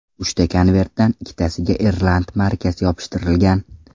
Uchta konvertdan ikkitasiga irland markasi yopishtirilgan.